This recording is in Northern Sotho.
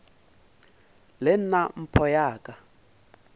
le nna mpho ya ka